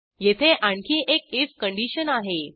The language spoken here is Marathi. येथे आणखी एक आयएफ कंडिशन आहे